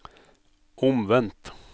omvendt